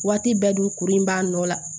Waati bɛɛ dun kuru in b'a nɔ la